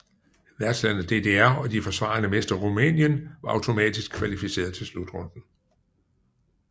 Værtslandet DDR og de forsvarende mestre Rumænien var automatisk kvalificeret til slutrunden